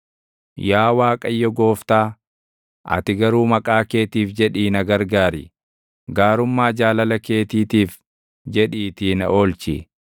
Yaa Waaqayyo Gooftaa, ati garuu maqaa keetiif jedhii na gargaar; gaarummaa jaalala keetiitiif jedhiitii na oolchi.